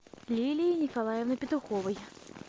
лилии николаевны петуховой